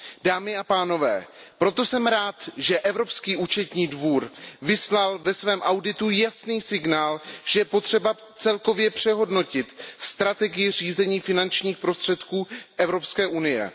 Dámy a pánové, proto jsem rád, že Evropský účetní dvůr vyslal ve svém auditu jasný signál, že je potřeba celkově přehodnotit strategii řízení finančních prostředků Evropské unie.